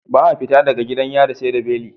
Ba a fita daga gidan yari seda beli